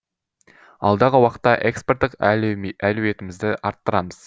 алдағы уақытта экспорттық әлеуетімізді арттырамыз